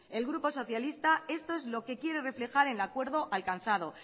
el grupo socialista esto es lo que quiere reflejar el acuerdo alcanzado